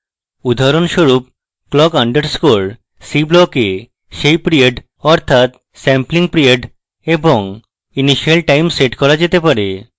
উদাহরণস্বরূপ clock underscore c block এ set period অর্থাৎ sampling period এবং initial time set করা যেতে পারে